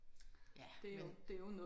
Ja men